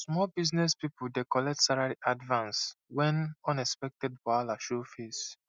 small business people dey collect salary advance when unexpected wahala show face